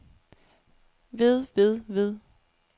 ved ved ved